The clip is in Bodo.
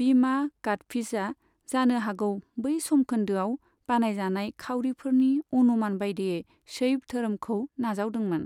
बीमा कादफीजआ जानो हागौ बै समखोन्दोआव बानायजानाय खाउरिफोरनि अनुमान बायदियै शैव धोरोमखौ नाजावदोंमोन।